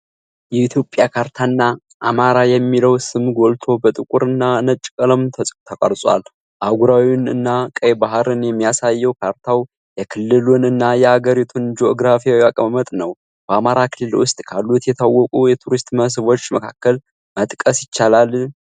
የ ኢትዮጵያ ካርታ እና አማራ የሚለው ስም ጎልቶ በጥቁር እና ነጭ ቀለም ተቀርጿል። አህጉራዊውን እና ቀይ ባህርን የሚያሳየው ካርታው የክልሉን እና የ አገሪቱን ጂኦግራፊያዊ አቀማመጥ ነው። በአማራ ክልል ውስጥ ካሉት የታወቁ የቱሪስት መስህቦች መካከል መጥቀስ ይችላሉ?